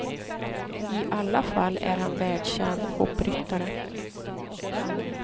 I alla fall är han världskänd hoppryttare.